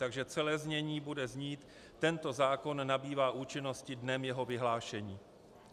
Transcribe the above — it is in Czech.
Takže celé znění bude znít: Tento zákon nabývá účinnosti dnem jeho vyhlášení.